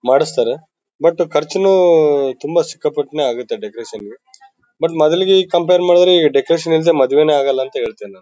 ಮಾಡಿಸ್ತಾರೆ ಬಟ್ ಖರ್ಚುನು ತುಂಬಾ ಸಿಕ್ಕಾಪಟ್ಟೆನೇ ಆಗುತ್ತೆ ಡೆಕೋರೇಷನ್ ಗೆ ಬಟ್ ಮೊದಲಿಗೆ ಈಗ ಕಂಪೇರ್ ಮಾಡಿದ್ರೆ ಈ ಡೆಕೋರೇಷನ್ ಇಲ್ದೆ ಮದುವೆನೇ ಆಗಲ್ಲ ಅಂತೀನಿ ನಾನು.